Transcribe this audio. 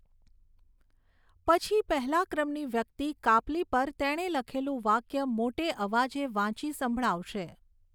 પછી પહેલા ક્રમની વ્યક્તિ કાપલી પર તેણે લખેલું વાક્ય મોટે અવાજે વાંચી સંભળાવશે.